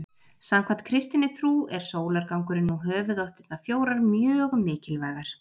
samkvæmt kristinni trú er sólargangurinn og höfuðáttirnar fjórar mjög mikilvægar